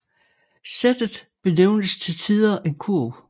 Sættet benævnes til tider en kurv